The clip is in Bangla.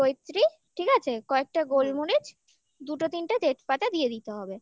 half জৈত্রি ঠিক আছে কয়েকটা গোলমরিচ দুটো তিনটে তেজপাতা দিয়ে দিতে হবে